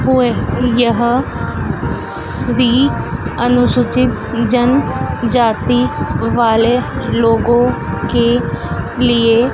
हुए यह श्री अनुसूचित जन जाति वाले लोगों के लिए--